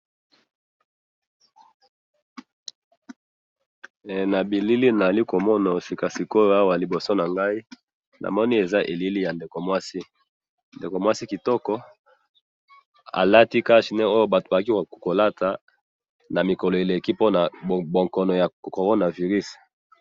Eh! Nabilili naali komona sikasikoyo awa liboso nangayi, namoni eza elili ya ndeko mwasi, ndeko mwasi kitoko, alati cache nez oyo batu bazali kolata namikolo eleki mpona bokono ya Corona virus.